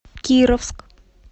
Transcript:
кировск